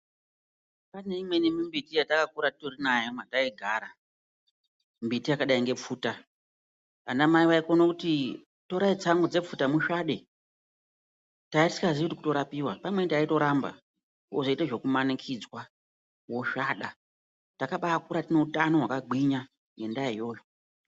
Pane imweni mimbiti yataka kura titori nayo kwatai gara. Mimbiti yakadai ngepfuta. Ana mai vakone kuti torai tsangu dzepfuta musvade. Taiya tisinga ziyi kuti kurapiwa. Nguwa imweni taito ramba, wozoite zveku manikidzwa wosvada. Takabaa kura tine utano hwaka gwinya, ngemdaa iyoyo.